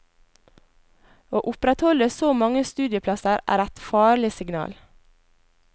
Å opprettholde så mange studieplasser er et farlig signal.